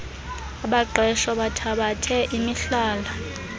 abaqeshwa bathabathe imihlala